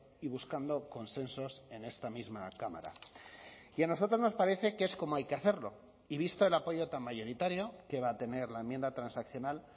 y buscando consensos en esta misma cámara y a nosotros nos parece que es como hay que hacerlo y visto el apoyo tan mayoritario que va a tener la enmienda transaccional